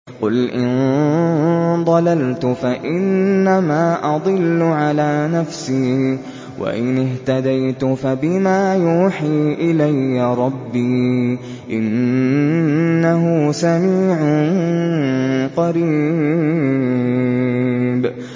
قُلْ إِن ضَلَلْتُ فَإِنَّمَا أَضِلُّ عَلَىٰ نَفْسِي ۖ وَإِنِ اهْتَدَيْتُ فَبِمَا يُوحِي إِلَيَّ رَبِّي ۚ إِنَّهُ سَمِيعٌ قَرِيبٌ